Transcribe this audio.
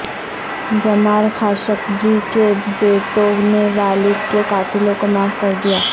جمال Khashoggi کے بیٹوں نے والد کے قاتلوں کو معاف کر دیا